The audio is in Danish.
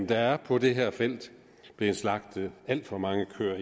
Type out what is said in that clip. der er på det her felt blevet slagtet alt for mange køer